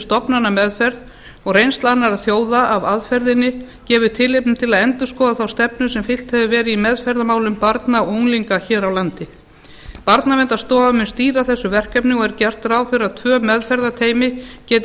stofnanameðferð og reynsla annarra þjóða af aðferðinni gefur tilefni til að endurskoða þá stefnu sem fylgt hefur verið í meðferðarmálum barna og unglinga hér á landi barnaverndarstofa mun stýra þessu verkefni og er gert ráð fyrir að tvö meðferðarteymi geti